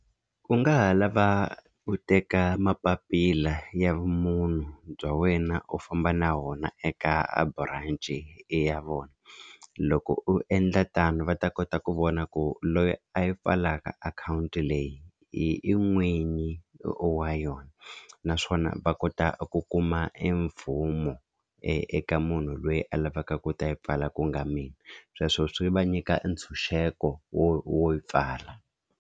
U nga ha lava u teka mapapila ya vumunhu bya wena u famba na wona eka branch ya vona loko u endla tano va ta kota ku vona ku loyi a yi pfalaka akhawunti leyi hi i n'winyi wa yona naswona va kota ku kuma e mvumo e eka munhu loyi a lavaka ku ta yi pfala ku nga mina sweswo swi va nyika ntshunxeko wo wo yi pfala.